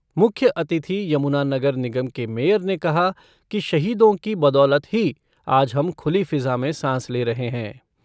मुख्य अतिथि यमुना नगर निगम के मेयर ने कहा कि शहीदों की बदौलत ही आज हम खुली फिज़ा में सांस ले रहे हैं।